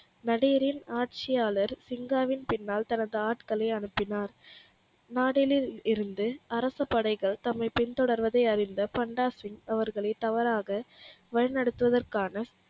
நடியுரில் ஆட்சியாளர் சீங்காவின் பின்னால் தந்து ஆட்களை அனுப்பினார் நாடலில் இருந்து அரசப்படைகள் தம்மை பின்தொடர்வதை அறிந்த பண்டா சிங் அவர்களை தவறாக வழிநடத்துவதற்கான